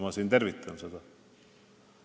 Ma tervitan seda.